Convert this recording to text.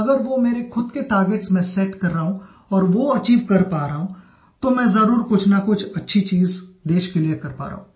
अगर वो मेरे खुद के टार्गेट्स मैं सेट कर रहा हूँ और वो अचीव कर पा रहा हूँ तो मैं ज़रूर कुछनकुछ अच्छी चीज़ देश के लिए कर पा रहा हूँ